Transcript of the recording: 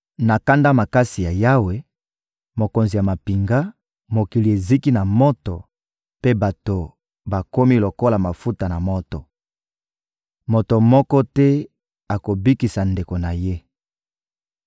Na kanda makasi ya Yawe, Mokonzi ya mampinga, mokili eziki na moto, mpe bato bakomi lokola mafuta na moto. Moto moko te akobikisa ndeko na ye.